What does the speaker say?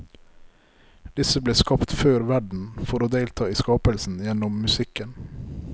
Disse ble skapt før verden, for å delta i skapelsen gjennom musikken.